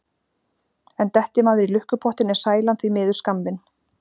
En detti maður í lukkupottinn er sælan því miður skammvinn.